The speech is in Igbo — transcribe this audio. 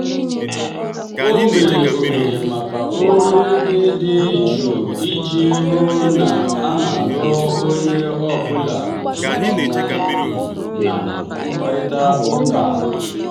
o mere ohere maka olu ndi dị jụụ iji hụ na a nụrụ onye ọ bụla nke ọma um na mkparịta ụka.